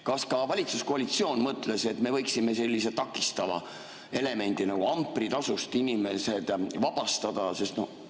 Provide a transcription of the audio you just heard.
Kas valitsuskoalitsioon on mõelnud, et me võiksime sellisest takistavast elemendist nagu ampritasu inimesed vabastada?